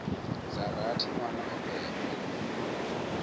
dza rathi nwana o bebwa